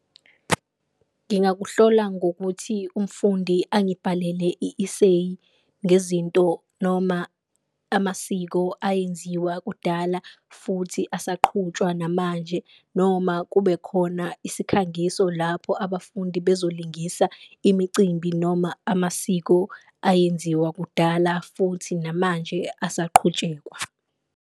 Ngingakuhlola ngokuthi umfundi angibhalele i-iseyi ngezinto noma amasiko ayenziwa kudala futhi asaqhutshwa namanje, noma kube khona isikhangiso lapho abafundi bezolingisa imicimbi noma amasiko ayenziwa kudala futhi namanje asaqhutshekwa.